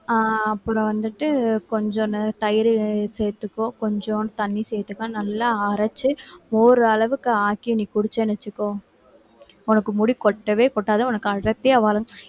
ஆஹ் அப்புறம் வந்துட்டு கொஞ்சனு தயிரு சேர்த்துக்கோ கொஞ்சம் தண்ணி சேர்த்துக்கோ நல்லா அரைச்சு மோர் அளவுக்கு ஆக்கி நீ குடிச்சேன்னு வச்சுக்கோ உனக்கு முடி கொட்டவே கொட்டாது உனக்கு அடர்த்தியா வளரும்